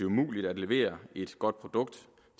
umuligt at levere et godt produkt